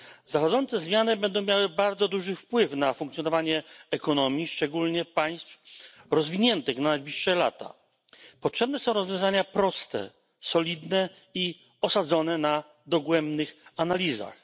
Zachodzące zmiany będą miały bardzo duży wpływ na funkcjonowanie ekonomii szczególnie państw rozwiniętych w najbliższych latach. Potrzebne są rozwiązania proste, solidne i osadzone na dogłębnych analizach.